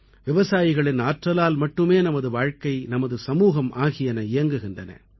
விவசாயிகளின் ஆற்றலால் மட்டுமே நமது வாழ்க்கை நமது சமூகம் ஆகியன இயங்குகின்றன